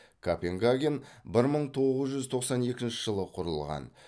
копенгаген бір мың тоғыз жүз тоқсан екінші жылы құрылған